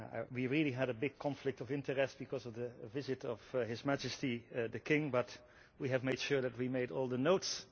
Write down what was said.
We really had a big conflict of interest because of the visit of His Majesty the King, but we have made sure that we made notes.